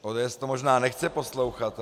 ODS to možná nechce poslouchat.